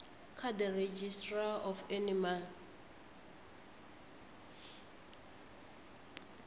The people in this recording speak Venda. kha the registrar of animal